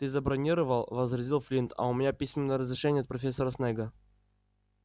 ты забронировал возразил флинт а у меня письменное разрешение от профессора снегга